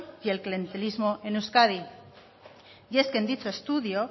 y el clientelismo en euskadi y es que en dicho estudio